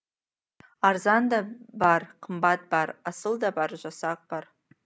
арзан да бар қымбат бар асыл да бар жасақ бар